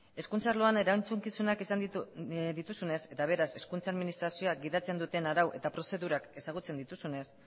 hezkuntza arloan erantzukizunak izan dituzunez eta beraz hezkuntza administrazioak gidatzen duten arau eta prozedurak ezagutzen dituzunez